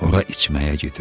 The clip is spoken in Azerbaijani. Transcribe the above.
Ora içməyə gedir.